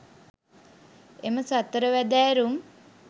එම සතර වැදෑරුම්